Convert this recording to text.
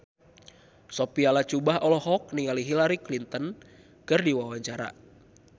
Sophia Latjuba olohok ningali Hillary Clinton keur diwawancara